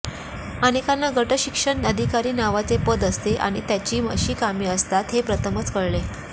अनेकांना गटशिक्षण अधिकारी नावाचे पद असते आणि त्याची अशी कामे असतात हे प्रथमच कळले